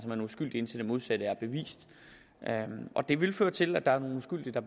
uskyldige indtil det modsatte er bevist og det vil føre til at der er nogle uskyldige der